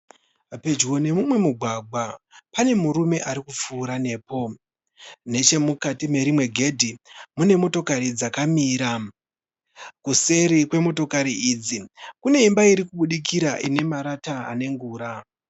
Pedyo neumwe mugwagwa pane murume ari kupfuura nepo. Nechemukati merimwe gedhi pane motikari dzakamira. Kuseri kwemotokari idzi kune imba iri kubudikira ine marata ane ngura.